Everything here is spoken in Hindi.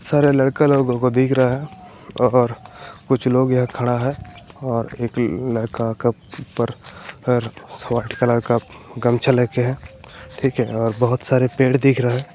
सारे लड़का लोगो को दिख रहा है और कुछ लोग यहाँ खड़ा है और एक लड़का ऊपर वाइट कलर का गमछा लेके ठीक है और बहोत सारे पेड़ दिख रहा है।